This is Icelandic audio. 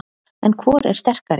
En hvor er sterkari?